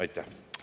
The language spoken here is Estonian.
Aitäh!